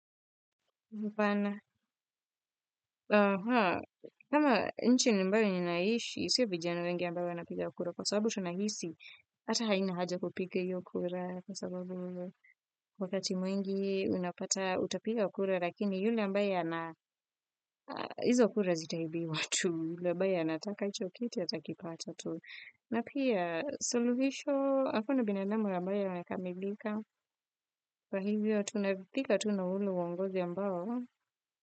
Haaahq. Kama nchi nimbayo ninaishi, sio vijana wengi ambayo wabapiga kura. Kwa sababu tunahisi, ata haina haja kupiga hiyo kura. Kwa sababu wakati mwengi unapata utapiga ukura, lakini yule ambaye hizo kura zitaibiwa tu. Yule ambaye anataka hicho kiti atakipata tu. Napia, suluhisho, hakuna binadamu ambaye amekamilika. Kwa hivyo, tunaudhika tu na ule uwongozi ambayo.